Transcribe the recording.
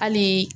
Hali